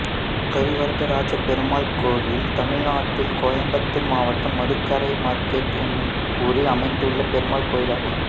கரிவரதராஜப்பெருமாள் கோயில் தமிழ்நாட்டில் கோயம்புத்தூர் மாவட்டம் மதுக்கரை மார்க்கெட் என்னும் ஊரில் அமைந்துள்ள பெருமாள் கோயிலாகும்